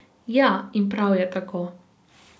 Ja in prav je tako.